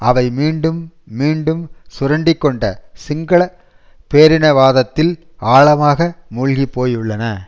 அவை மீண்டும் மீண்டும் சுரண்டிக்கொண்ட சிங்கள பேரினவாதத்தில் ஆழமாக மூழ்கிப்போயுள்ளன